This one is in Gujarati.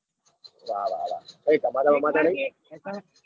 વાર વાર હ. કઈ ટપાલ માં ઘણી.